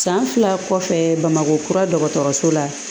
San fila kɔfɛɛ bamakɔ kura dɔgɔtɔrɔso la